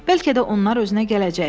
Bəlkə də onlar özünə gələcək.